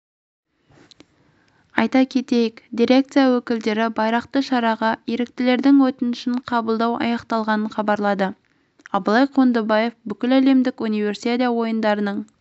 айта кетейік дирекция өкілдері байрақты шараға еріктілердің өтінішін қабылдау аяқталғанын хабарлады абылай қондыбаев бүкіләлемдік универсиада ойындарының